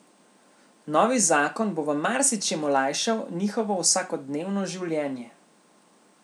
Novi zakon bo v marsičem olajšal njihovo vsakodnevno življenje.